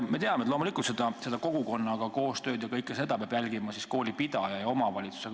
Me teame loomulikult, et kogukonnaga koostööd ja kõike seda peab jälgima koolipidaja ja omavalitsus.